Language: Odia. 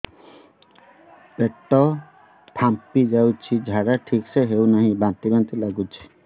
ପେଟ ଫାମ୍ପି ଯାଉଛି ଝାଡା ଠିକ ସେ ହଉନାହିଁ ବାନ୍ତି ବାନ୍ତି ଲଗୁଛି